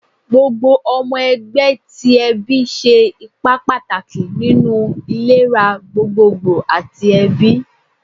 Gbogbo ọmọ ẹgbẹ ti ẹbi ṣe ipa pataki ninu ilera gbogbogbo ati ẹbi